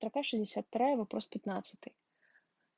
строка шестьдесят вторая вопрос пятнадцатый